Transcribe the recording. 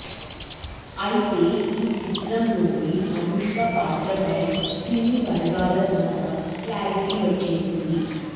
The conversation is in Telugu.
అయితే ఈ చిత్రంలోని అనుష్క పాత్రపై సినీ వర్గాల ద్వారా క్లారిటీ వచ్చేసింది